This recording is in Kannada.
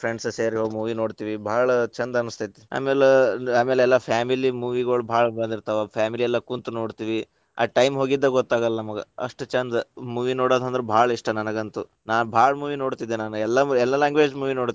Friends ಸೇರಿ movie ನೋಡ್ತಿವಿ, ಭಾಳ ಛಂದ ಅನಸ್ತೇತಿ. ಆಮೇಲ, ಆಮೇಲ ಎಲ್ಲಾ family movie ಗಳು ಭಾಳ ಬಂದಿರ್ತಾವ family ಎಲ್ಲಾ ಕುಂತ್ ನೋಡ್ತಿವಿ ಆ time ಹೋಗಿದ್ದ ಗೊತ್ತಾಗಲ್ಲಾ ನಮಗ ಅಷ್ಟ್ ಛಂದ movie ನೋಡೋದಂದ್ರ ಭಾಳ ಇಷ್ಟ ನನಗಂತೂ. ನಾನ್‌ ಭಾಳ್‌ movie ನೋಡ್ತಿದ್ದೆ. ನಾನ್ ಎಲ್ಲಾ ಎಲ್ಲಾ language movie ನೋಡ್ತಿನಿ